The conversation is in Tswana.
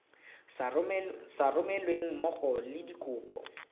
sa romelweng mmogo le dikopo